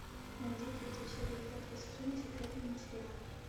найди третью серию пятого сезона секретные материалы